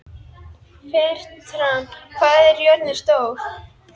Fertram, hvað er jörðin stór?